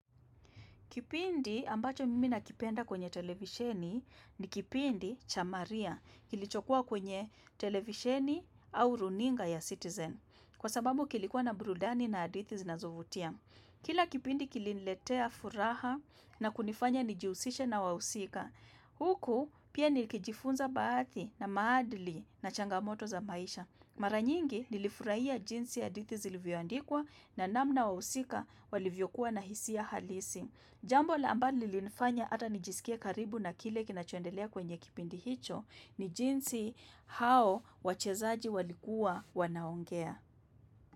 Kipindi ambacho mimi nakipenda kwenye televisheni ni kipindi cha maria kilichokua kwenye televisheni au runinga ya citizen kwa sababu kilikuwa na burudani na hadithi zinazovutia. Kile kipindi kiliniletea furaha na kunifanya nijihusishe na wahusika. Huku pia nilikijifunza baadhi na maadili na changamoto za maisha. Mara nyingi nilifurahia jinsi yay hadithi zilivyoandikwa na namna wahusika walivyokuwa na hisia halisi. Jambo la ambani lilifanya ata nijisikie karibu na kile kinachoendelea kwenye kipindi hicho ni jinsi hao wachezaji walikuwa wanaongea.